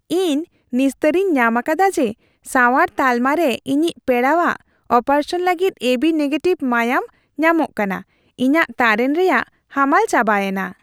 ᱤᱧ ᱱᱤᱥᱛᱟᱹᱨᱤᱧ ᱧᱟᱢ ᱟᱠᱟᱫᱟ ᱡᱮ ᱥᱟᱶᱟᱨ ᱛᱟᱞᱢᱟ ᱨᱮ ᱤᱧᱤᱡ ᱯᱮᱲᱟᱣᱟᱜ ᱚᱯᱟᱨᱮᱥᱚᱱ ᱞᱟᱹᱜᱤᱫ ᱮᱵᱤ ᱱᱮᱜᱮᱴᱤᱷ ᱢᱟᱭᱟᱢ ᱧᱟᱢᱚᱜ ᱠᱟᱱᱟ ᱾ ᱤᱧᱟᱜ ᱛᱟᱨᱮᱱ ᱨᱮᱭᱟᱜ ᱦᱟᱢᱟᱞ ᱪᱟᱵᱟᱭᱮᱱᱟ ᱾